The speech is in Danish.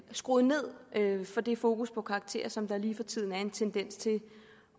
skruer ned for det fokus på karakterer som der lige for tiden er en tendens til